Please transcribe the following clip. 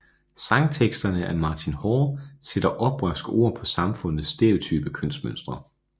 Sangteksterne af Martin Hall sætter oprørske ord på samfundets stereotype kønsmønstre